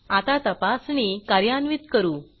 आता तपासणी कार्यान्वित करू